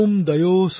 शान्तिरोषधय शान्ति